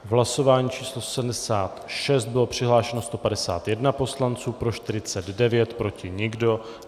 Hlasování číslo 76, bylo přihlášeno 151 poslanců, pro 149, proti nikdo.